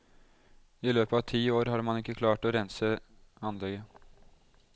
I løpet av ti år har man ikke klart å rense anlegget.